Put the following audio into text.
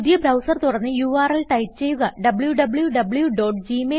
പുതിയ ബ്രൌസർ തുറന്ന് URL type ചെയ്യുക wwwgmailcom